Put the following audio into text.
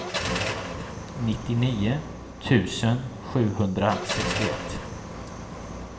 nittionio tusen sjuhundrasextioett